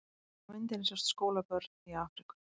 Á myndinni sjást skólabörn í Afríku.